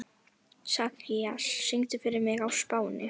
Sakarías, syngdu fyrir mig „Á Spáni“.